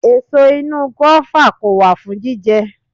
Èso inú gùáfà kò wà fún jíjẹ